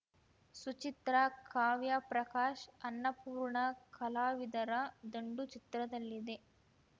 ಸುಚಿತ್ರ ಕಾವ್ಯ ಪ್ರಕಾಶ್ ಅನ್ನಪೂರ್ಣ ಕಲಾವಿದರ ದಂಡು ಚಿತ್ರದಲ್ಲಿದೆ